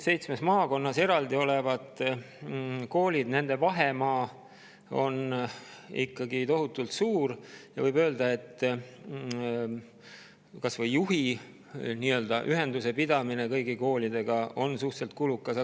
Seitsmes maakonnas eraldi olevate koolide vahemaa on ikkagi tohutult suur ja võib öelda, et kas või juhil ühenduse pidamine kõigi nende koolidega on suhteliselt kulukas.